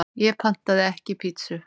Ég pantaði ekki pítsu